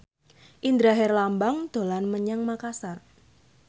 Indra Herlambang dolan menyang Makasar